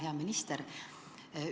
Hea minister!